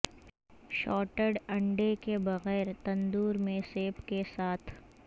شارٹٹ انڈے کے بغیر تندور میں سیب کے ساتھ